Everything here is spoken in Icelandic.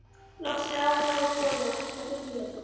Loks er afa nóg boðið og pantar flutningabíl.